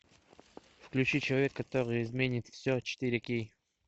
включи человек который изменит все четыре кей